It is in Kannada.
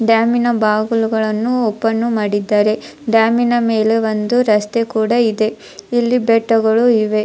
ಡ್ಯಾಮಿನ ಬಾಗಿಲುಗಳನ್ನು ಓಪನ್ ಮಾಡಿದ್ದಾರೆ ಡ್ಯಾಮಿನ ನ ಮೇಲೆ ಒಂದು ರಸ್ತೆ ಕೂಡ ಇದೆ ಇಲ್ಲಿ ಬೆಟ್ಟಗಳು ಇವೆ.